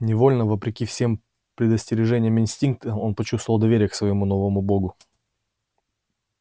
невольно вопреки всем предостережениям инстинкта он почувствовал доверие к своему новому богу